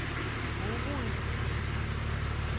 Morud